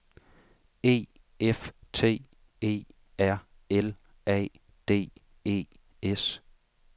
E F T E R L A D E S